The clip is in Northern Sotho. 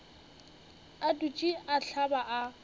a dutše a hlaba a